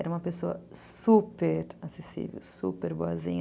Era uma pessoa super acessível, super boazinha.